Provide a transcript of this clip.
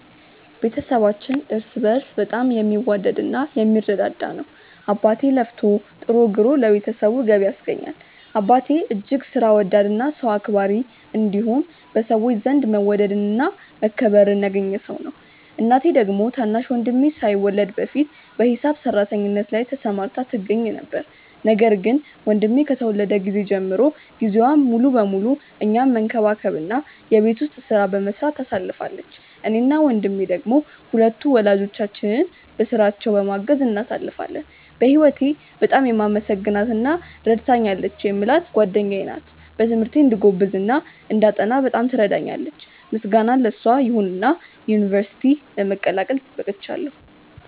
ቤተሰባችን እርስ በእርስ በጣም የሚዋደድ እና የሚረዳዳ ነው። አባቴ ለፍቶ ጥሮ ግሮ ለቤተሰቡ ገቢ ያስገኛል። አባቴ እጅግ ሥራ ወዳድ እና ሰው አክባሪ እንዲሁም በሰዎች ዘንድ መወደድን እና መከበርን ያገኘ ሰው ነው። እናቴ ደግሞ ታናሽ ወንድሜ ሳይወለድ በፊት በሂሳብ ሰራተኝነት ላይ ተሰማርታ ትገኛ ነበር፤ ነገር ግን ወንድሜ ከተወለደ ጊዜ ጀምሮ ጊዜዋን ሙሉ ለሙሉ እኛን መንከባከብ እና የቤት ውስጡን ሥራ በመስራት ታሳልፋለች። እኔ እና ወንድሜ ደሞ ሁለቱን ወላጆቻችንን በሥራቸው በማገዝ እናሳልፋለን። በህወቴ በጣም የማመሰግናት እና ረድታኛለች የምላት ጓደኛዬ ናት። በትምህርቴ እንድጎብዝ እና እንዳጠና በጣም ትረዳኛለች። ምስጋና ለሷ ይሁንና ዩንቨርስቲ ለመቀላቀል በቅቻለው።